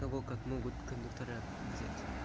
кого как могут кондуктора взять